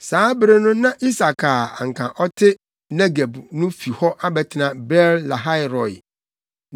Saa bere no na Isak a na anka ɔte Negeb no fi hɔ abɛtena Beer-Lahai-Roi.